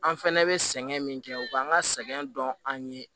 An fɛnɛ bɛ sɛgɛn min kɛ u b'an ka sɛgɛn dɔn an ye